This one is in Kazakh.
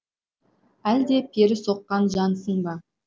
әлде пері соққан жансың ба